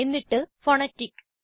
എന്നിട്ട് ഫോണാറ്റിക്